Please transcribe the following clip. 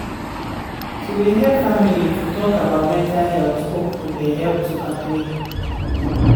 to de help family to talk about mental health open de help to agreed.